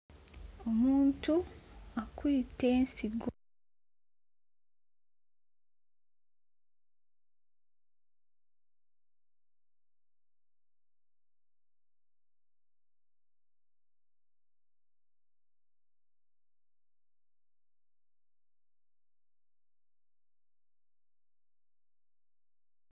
Omuntu akwite ensigo.